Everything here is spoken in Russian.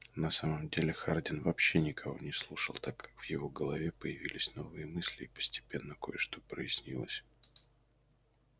на самом деле хардин вообще никого не слушал так как в его голове появились новые мысли и постепенно кое-что прояснилось